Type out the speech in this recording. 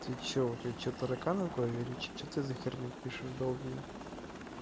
ты что у тебя что тараканы в голове или что что ты за херню пишешь долбень